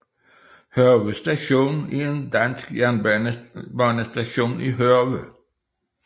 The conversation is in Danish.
Hørve Station er en dansk jernbanestation i Hørve